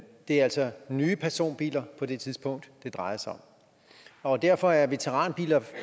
det er altså nye personbiler på det tidspunkt det drejer sig om og derfor er veteranbiler